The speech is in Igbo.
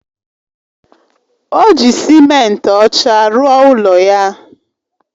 O ji simenti ọcha rụọ ụlọ ya